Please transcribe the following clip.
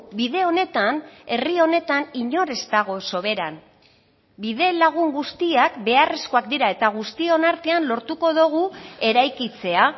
bide honetan herri honetan inor ez dago soberan bidelagun guztiak beharrezkoak dira eta guztion artean lortuko dugu eraikitzea